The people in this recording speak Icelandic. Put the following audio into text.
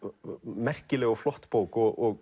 merkileg og flott bók og